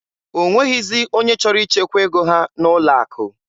O nweghịzi onye chọrọ ichekwa ego ha n'ụlọ akụ.